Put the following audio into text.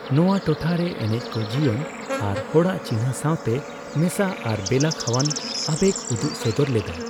ᱱᱚᱣᱟ ᱴᱚᱴᱷᱟ ᱨᱮ ᱮᱱᱮᱪᱠᱚ ᱡᱤᱭᱚᱱ ᱟᱨ ᱦᱚᱲᱟᱜ ᱪᱤᱱᱦᱟᱹ ᱥᱟᱣᱛᱮ ᱢᱮᱥᱟ ᱟᱨ ᱵᱮᱞᱟᱠᱷᱟᱣᱟᱱ ᱟᱵᱮᱜ ᱩᱫᱩᱜᱥᱚᱫᱚᱨ ᱞᱮᱫᱟᱭ ᱾